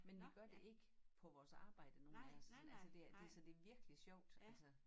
Men vi gør det ikke på vores arbejde nogen af os sådan altså det er det så det virkelig sjovt altså